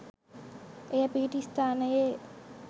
එය පිහිටි ස්ථානයේ